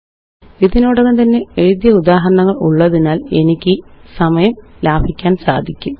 ഇതിനോടകം തന്നെ എഴുതിയ ഉദാഹരണങ്ങളുള്ളതിനാല് എനിക്ക് സമയം ലാഭിക്കാന് സാധിക്കും